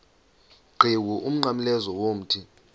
qhiwu umnqamlezo womthi